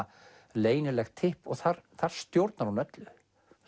leynilegt tipp og þar þar stjórnar hún öllu